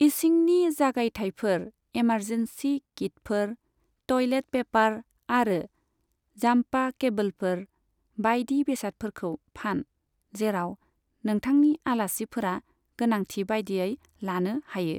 इसिंनि जागायथायफोर, एमारजेन्सी किटफोर, toilet paper आरो जाम्पा केबोलफोर बाइदि बेसादफोरखौ फान, जेराव नोंथांनि आलासिफोरा गोनांथि बायदियै लानो हायो।